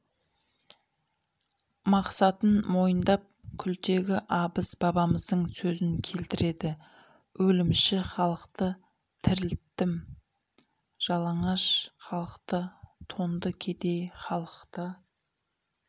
мақсатын мойындап күлтегі абыз бабамыздың сөзін келтіреді өлімші халықты тірілттім жалаңаш халықты тонды кедей халықты